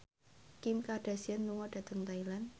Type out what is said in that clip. Kim Kardashian lunga dhateng Thailand